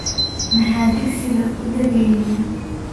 Maxaa digsiga uudageynin?